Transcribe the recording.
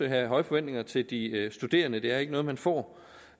have høje forventninger til de studerende for det er ikke noget man får